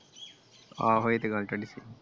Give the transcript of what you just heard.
ਆਹੋ ਇਹ ਤੇ ਗੱਲ ਤੁਹਾਡੀ ਸਹੀ ਆ ।